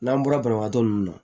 N'an bɔra banabagatɔ ninnu na